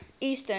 eastern